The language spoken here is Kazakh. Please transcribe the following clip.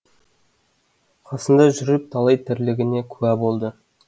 қасында жүріп талай тірлігіне куә болды